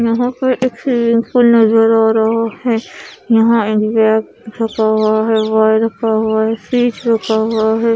यहा पर एक स्वीमिंग पुल नजर आ रहा है यहा फ्रिज रखा हुआ है।